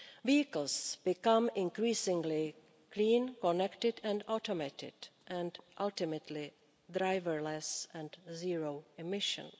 Vehicles become increasingly clean, connected and automated and ultimately driverless, with zero emissions.